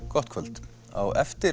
gott kvöld á eftir